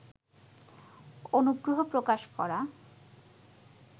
অনুগ্রহ প্রকাশ করা